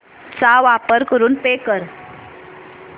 चा वापर करून पे कर